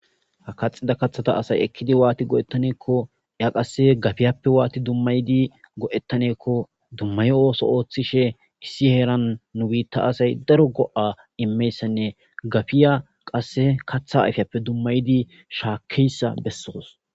Ha kaxida kathata asay ekkidi waati go7ettaneekko ya qasse gafiyappe waati dummaydi go7ettaneekko dummayo ooso ooththishe issi heeran nu biitta asay daro go7a immeyssanne gafiya qasse katha ayfiyappe dummaydi shaakkeyssa bessoos.